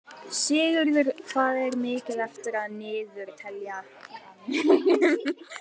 Sigurður, hvað er mikið eftir af niðurteljaranum?